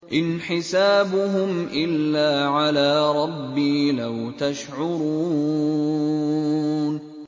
إِنْ حِسَابُهُمْ إِلَّا عَلَىٰ رَبِّي ۖ لَوْ تَشْعُرُونَ